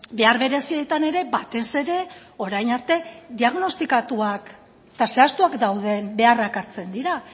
behar berezietan ere batez ere orain arte diagnostikatuak eta zehaztuak dauden beharrak hartzen dira